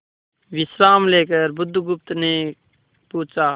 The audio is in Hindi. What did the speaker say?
विश्राम लेकर बुधगुप्त ने पूछा